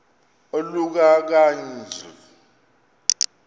oluka ka njl